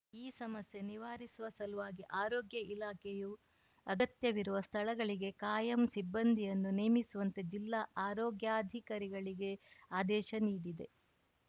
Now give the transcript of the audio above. ಈ ಸಮಸ್ಯೆ ನಿವಾರಿಸುವ ಸಲುವಾಗಿ ಆರೋಗ್ಯ ಇಲಾಖೆಯು ಅಗತ್ಯವಿರುವ ಸ್ಥಳಗಳಿಗೆ ಕಾಯಂ ಸಿಬ್ಬಂದಿಯನ್ನು ನೇಮಿಸುವಂತೆ ಜಿಲ್ಲಾ ಆರೋಗ್ಯಾಧಿಕಾರಿಗಳಿಗೆ ಆದೇಶ ನೀಡಿದೆ